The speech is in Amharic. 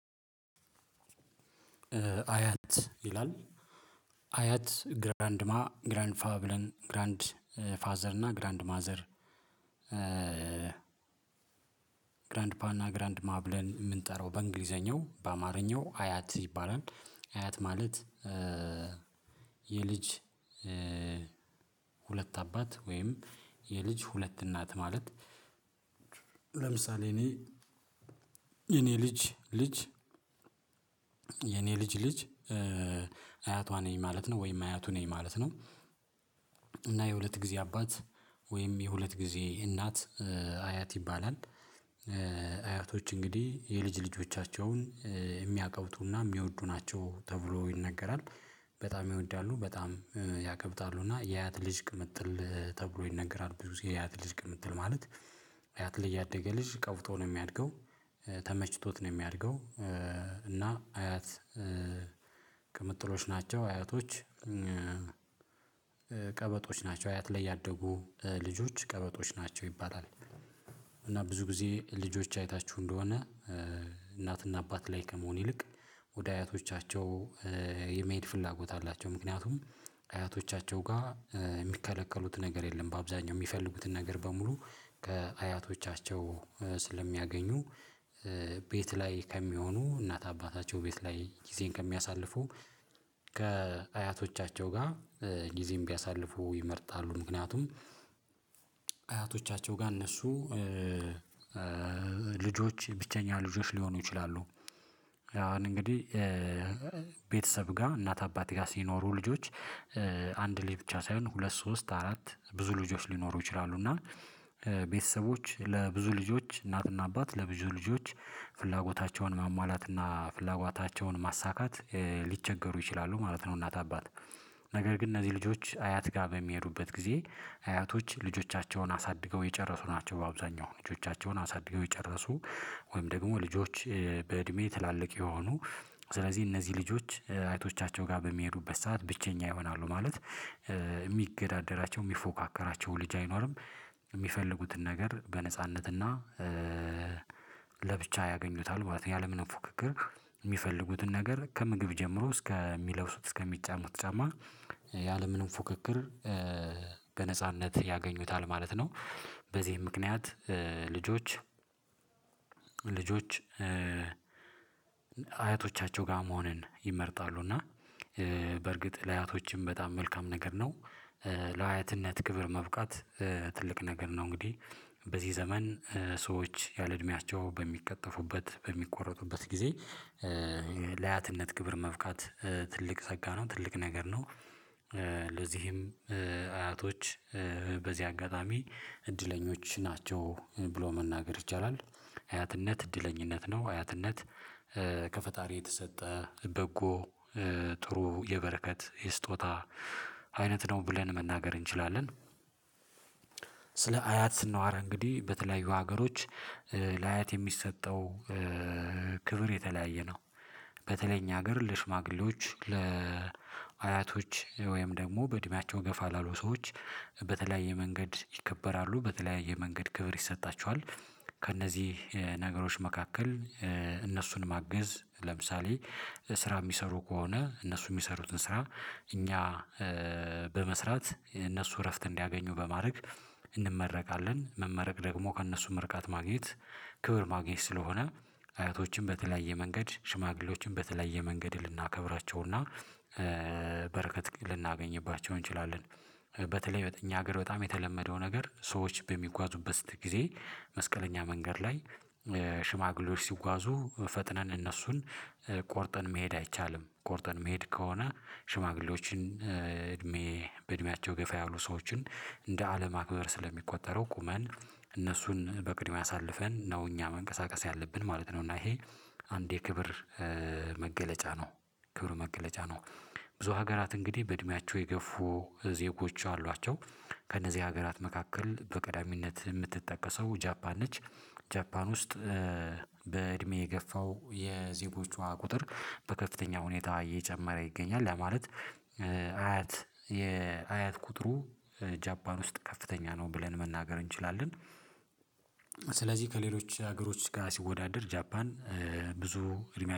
አያት ይላል። አያት ግራንድማ ግራን ፋብለን ግራንድ ፋዘር እና ግራንድ ማዘር። ግራንድ ፓና ግራንድ ማብለን የምንጠራው በእንግሊዘኛው በአማርኛው አያት ይባላል። አያት ማለት የልጅ ሁለት አባት ወይም የልጅ ሁለት እናት ማለት። ለምሳሌ እኔ የኔ ልጅ ልጅ ልጅ ልጅ አያቷ ነኝ ማለት ነው ወይም አያቱ ነኝ ማለት ነው። እና የሁለት ጊዜ አባት ወይም የሁለት ጊዜ እናት አያት ይባላል። አያቶች እንግዲህ የልጅ ልጆቻቸውን የሚያቀብጡና የሚወዱ ናቸው ተብሎ ይነገራል። በጣም ይወዳሉ በጣም ያከብታሉ እና የያት ልጅ ቅምጥል ተብሎ ይነገራል ብዙ የያት ልጅ ቅምጥል ማለት። አያት ልጅ ያደገ ልጅ ቀውጦ ነው የሚያድገው ተመችቶት ነው የሚያድገው። እና አያት ቅምጥሎች ናቸው አያቶች ቀበጦች ናቸው። አያት ላይ ያደጉ ልጆች ቀበጦች ናቸው ይባላል። እና ብዙ ጊዜ ልጆች አይታችሁ እንደሆነ እናትና አባት ላይ ከመሆን ይልቅ ወደ አያቶቻቸው የመሄድ ፍላጎት አላቸው ምክንያቱም አያቶቻቸው ጋር የሚከለከሉት ነገር የለም። በአብዛኛው የሚፈልጉትን ነገር በሙሉ ከአያቶቻቸው ስለሚያገኙ ቤት ላይ ከሚሆኑ እናት አባታቸው ቤት ላይ ጊዜን ከሚያሳልፉ ከአያቶቻቸው ጋር ጊዜም ቢያሳልፉ ይመርጣሉ። ምክንያቱም አያቶቻቸው ጋር እነሱ ልጆች ብቸኛ ልጆች ሊሆኑ ይችላሉ። አሁን እንግዲህ ቤተሰብ ጋር እናት አባት ጋር ሲኖሩ ልጆች አንድ ልጅ ብቻ ሳይሆን ሁለት ሶስት አራት ብዙ ልጆች ሊኖሩ ይችላሉ። እና ለብዙ ልጆች እናትና አባት ለብዙ ልጆች ፍላጎታቸውን ማማላትና ፍላጎታቸውን ማሳካት ሊቸገሩ ይችላሉ ማለት ነው። እናት አባት ነገር ግን እነዚህ ልጆች አያት ጋር በሚሄዱበት ጊዜ አያቶች ልጆቻቸውን አሳድገው የጨረሱ ናቸው። አብዛኛው ልጆቻቸውን አሳድገው የጨረሱ ወይም ደግሞ ልጆች በእድሜ ትላልቅ የሆኑ ስለዚህ እነዚህ ልጆች አይቶቻቸው ጋር በሚሄዱበት ሰዓት ብቸኛ ይሆናሉ ማለት የሚገዳደራቸው የሚፎካከራቸው ልጅ አይኖርም። የሚፈልጉትን ነገር በነጻነትና ለብቻ ያገኙታል ያለምንም ፉክክር የሚፈልጉትን ነገር ከምግብ ጀምሮ እስከሚለውሱት እስከሚጫሙት ጫማ ያለምንም ፉክክር ያገኙታል ማለት ነው። በዚህም ምክንያት ልጆች ልጆች አያቶቻቸው ጋር መሆንን ይመርጣሉ። እና በርግጥ ለአያቶችም በጣም መልካም ነገር ነው። ለአያትነት ክብር መብቃት ትልቅ ነገር ነው እንግዲህ በዚህ ዘመን ሰዎች ያለ እድሜያቸው በሚቀጠፉበት በሚቆረጡበት ጊዜ ግብር መፍቃት ትልቅ ጸጋ ነው ትልቅ ነገር ነው። ለዚህም አያቶች በዚህ አጋጣሚ እድለኞች ናቸው ብሎ መናገር ይቻላል። አያትነት እድለኛነት ነው አያትነት ከፈጣሪ የተሰጠ በጎ ጥሩ የበረከት የስጦታ አይነት ነው ብለን መናገር እንችላለን። ስለ አያት ስናወራ እንግዲህ በተለያዩ ሀገሮች ለአያት የሚሰጠው ክብር የተለያየ ነው። በተለይ እኛ ሀገር ለሽማግሌዎች ለአያቶች ወይም ደግሞ በእድሜያቸው ገፋ ላሉ ሰዎች በተለያየ መንገድ ይከበራሉ በተለያየ መንገድ ክብር ይሰጣቸዋል። ከእነዚህ ነገሮች መካከል እነሱን ማገዝ ለምሳሌ ስራ የሚሰሩ ከሆነ እነሱ የሚሰሩትን ስራ እኛ በመስራት እነሱ እረፍት እንዲያገኙ በማድረግ እንመረቃለን መመረቅ ደግሞ ከእነሱ ምርቃት ማግኘት ክብር ማግኘት ስለሆነ አያቶችን በተለያየ መንገድ ሽማግሌዎችን በተለያየ መንገድ ልናከብራቸውና በረከት ልናገኝባቸው እንችላለን። በተለይ በእኛ ሀገር በጣም የተለመደው ነገር ሰዎች በሚጓዙበት ስትል ጊዜ መስቀለኛ መንገድ ላይ ሽማግሌዎች ሲጓዙ ፈጥነን እነሱን ቆርጠን መሄድ አይቻልም ቆርጠን መሄድ ከሆነ ሽማግሌዎችን እድሜ በእድሜያቸው ገፋ ያሉ ሰዎችን እንደ አለማክበር ስለሚቆጠረው ቁመን እነሱን በቅድሚያ አሳልፈን ነው እኛ መንቀሳቀስ ያለብን ማለት ነው። እና ይሄ አንድ የክብር መገለጫ ነው። ክብሩ መገለጫ ነው ብዙ ሀገራት እንግዲህ በእድሜያቸው የገፉ ዜጎች አሏቸው። ከእነዚህ ሀገራት መካከል በቀዳሚነት የምትጠቀሰው ጃፓን ነች። ጃፓን ውስጥ በእድሜ የገፋው የዜጎቿ ቁጥር በከፍተኛ ሁኔታ እየጨመረ ይገኛል። ለማለት አያት የአያት ቁጥሩ ጃባን ውስጥ ከፍተኛ ነው ብለን መናገር እንችላለን። ስለዚህ ከሌሎች ሀገሮች ጋር ሲወዳደር ጃፓን ብዙ እድሜ